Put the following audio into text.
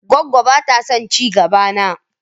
Goggo ba ta son ci gaba na.